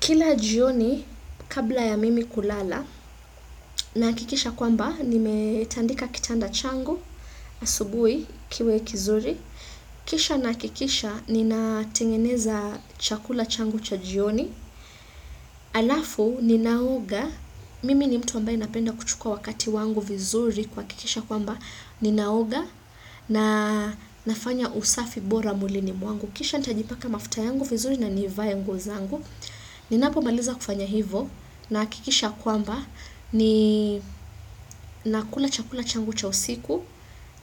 Kila jioni kabla ya mimi kulala na hakikisha kwamba nimetandika kitanda changu asubuhi kiwe kizuri. Kisha nina hakikisha nina tengeneza chakula changu cha jioni. Alafu ninaoga mimi ni mtu ambaye ninapenda kuchukua wakati wangu vizuri ku hakikisha kwamba ninaoga na nafanya usafi bora mwilini mwangu. Kisha nitajipaka mafuta yangu vizuri na nivae nguo zangu. Ninapo maliza kufanya hivyo nina hakikisha kwamba ni nakula chakula changu cha usiku